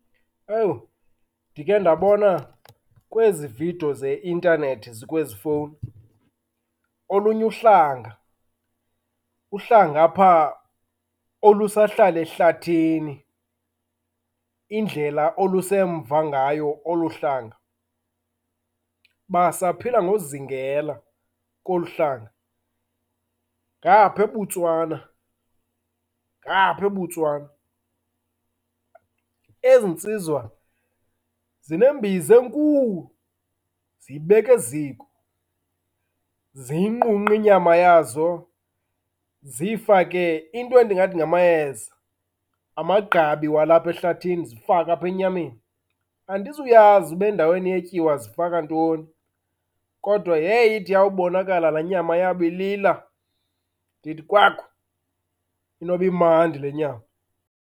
Ewu, ndikhe ndabona kwezi vidiyo zeintanethi zikwezi fowni olunye uhlanga. Uhlanga apha olusahlala ehlathini. Indlela olusemva ngayo olu hlanga, basaphila ngozingela kolu hlanga ngaphaa eBotswana, ngaphaa eBotswana. Ezi ntsizwa zinembiza enkulu, ziyibeke ziko. Ziyinqunqe inyama yazo ziyifake into endingathi ngamayeza, amagqabi walapha ehlathini zifake apha enyameni. Andizuyazi uba endaweni yetyiwa zifaka ntoni, kodwa heyi ide iyawubonakala laa nyama yabo ilila ndithi, kwaku, inoba imandi le nyama.